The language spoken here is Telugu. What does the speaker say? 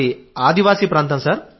మాది ఆదివాసీ ప్రాంతం సార్